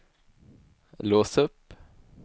lås upp